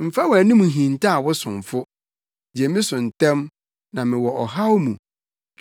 Mfa wʼanim nhintaw wo somfo; gye me so ntɛm, na mewɔ ɔhaw mu.